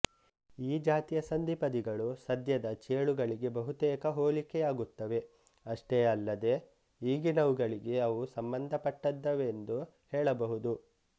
ಈ ಜಾತಿಯ ಸಂಧಿಪದಿಗಳು ಸದ್ಯದ ಚೇಳುಗಳಿಗೆ ಬಹುತೇಕ ಹೋಲಿಕೆಯಾಗುತ್ತವೆಅಷ್ಟೇ ಅಲ್ಲದೇ ಈಗಿನವುಗಳಿಗೆ ಅವು ಸಂಬಂಧಪಟ್ಟದ್ದವೆಂದು ಹೇಳಬಹುದು